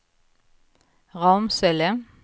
Ramsele